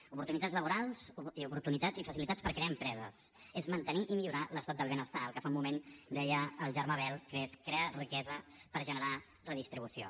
oportunitats laborals i oportunitats i facilitats per crear empreses és mantenir i millorar l’estat del benestar el que fa un moment deia el germà bel que és crear riquesa per generar redistribució